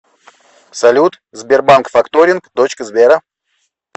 салют сбербанк факторинг дочка сбера